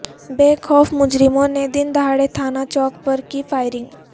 بے خوف مجرموں نے دن دہاڑے تھانہ چوک پر کی فائرنگ